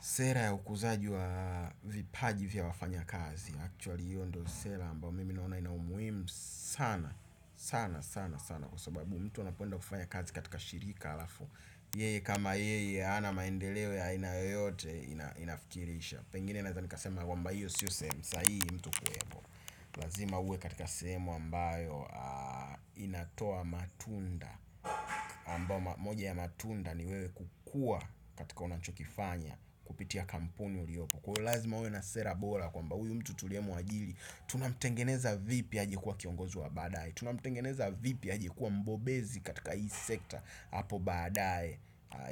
Sera ya ukuzaji wa vipaji vya wafanyakazi. Kweli, ndiyo sera ambayo mimi naona ina umuhimu sana, sana, sana, sana. Kwa sababu mtu unapoenda kufanya kazi katika shirika alafu. Yeye, kama yeye, hana maendeleo ya aina yeyote inafikirisha. Pengine naweza nikasema kwamba hiyo siyo sehemu sahihi mtu kuwepo. Lazima uwe katika sehemu ambayo inatoa matunda. Ambayo moja ya matunda ni wewe kukua katika unanchokifanya. Kupitia kampuni uliopo. Kwa hivyo lazima uwe na sera bora kwamba huyu mtu tuliyemuajiri tunamtengeneza vipi aje kuwa kiongozi wa badaye? Tunamtengeneza vipi aje kuwa mbobezi katika hii sekta hapo baadaye?